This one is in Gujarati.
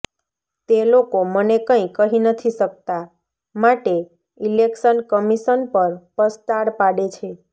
તે લોકો મને કંઈ કહી નથી શકતા માટે ઈલેક્શન કમિશન પર પસ્તાળ પાડે છે